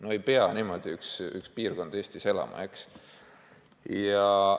No ei pea üks piirkond Eestis niimoodi elama.